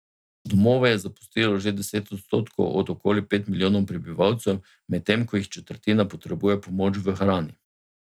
Domove je zapustilo že deset odstotkov od okoli pet milijonov prebivalcev, medtem ko jih četrtina potrebuje pomoč v hrani.